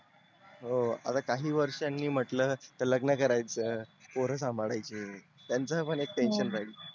हो काही वर्षानी म्हटल तर लग्न करायच पोर सांभाळायची त्यांच पण एक tension राहील